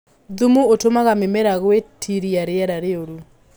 Thumu ũtumaga mĩmera gwĩtiria rĩera rĩũru.